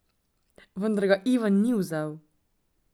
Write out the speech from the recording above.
Vendar ga Ivan ni vzel.